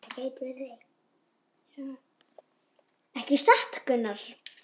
Ekki satt Gunnar?